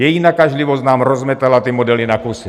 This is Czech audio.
Její nakažlivost nám rozmetala ty modely na kusy.